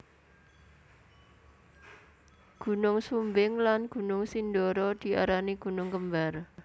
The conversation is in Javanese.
Gunung Sumbing lan Gunung Sindoro diarani gunung kembar